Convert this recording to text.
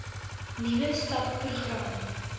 nuwe subpro gram